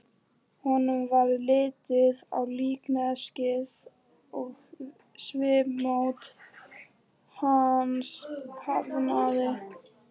Honum varð litið á líkneskið og svipmót hans harðnaði.